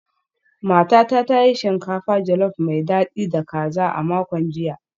Matata ta yi shinkafa jolof mai dadi da kaza a makon jiya